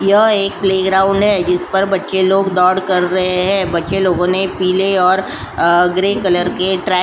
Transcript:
यह एक प्लेग्राउंड है जिस पर बच्चे लोग दौड़ कर रहे हैं बच्चे लोगों ने पीले और ग्रे कलर के ट्रैक --